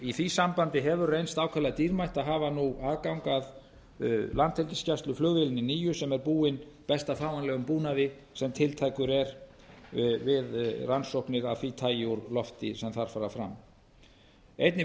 í því sambandi hefur reynst ákaflega dýrmætt að hafa nú aðgang að landhelgisgæsluflugvélinni nýju sem er búin besta fáanlegum búnaði sem tiltækur er við rannsóknir af því tagi úr lofti sem þar fara fram einnig